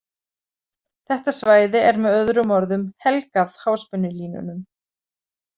Þetta svæði er með öðrum orðum „helgað“ háspennulínunum.